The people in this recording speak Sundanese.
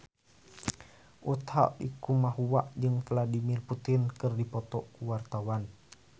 Utha Likumahua jeung Vladimir Putin keur dipoto ku wartawan